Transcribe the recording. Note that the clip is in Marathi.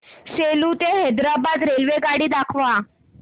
सेलू ते हैदराबाद रेल्वेगाडी दाखवा